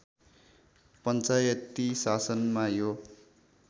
पञ्चायती शासनमा यो